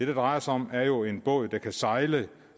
det drejer sig om er jo en båd der kan sejle